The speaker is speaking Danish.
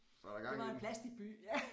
Det var en plasticby ja